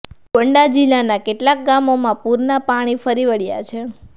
ગોન્ડા જિલ્લાના કેટલાક ગામોમાં પુરના પાણી ફરી વળ્યા છે